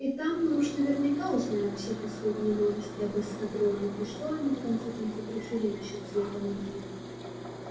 и там мы уж наверняка узнаем все последние новости об эскадроне и что они в конце концов решили насчёт цвета мундиров